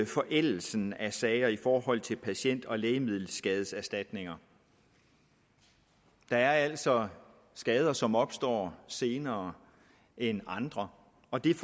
forældelsen af sager i forhold til patient og lægemiddelskadeserstatninger der er altså skader som opstår senere end andre og der